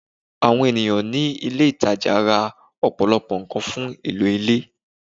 Àwọn ènìyàn ní ilé ìtajà ra ọ̀pọ̀lọpọ̀ nǹkan fún ìlò ilé